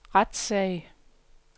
retssag